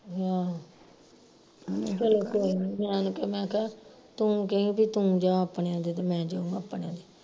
ਆਹੋ ਚੱਲੋ ਕੋਈ ਨੀ ਮੈਂ ਉਹਨੂੰ ਕਿਹਾ ਮੈਂ ਕਿਹਾ ਤੂੰ ਕਈ ਬਈ ਤੂੰ ਜਾ ਆਪਣਿਆ ਤੇ ਮੈਂ ਜਾਉ ਆਪਣਿਆਂ ਤੇ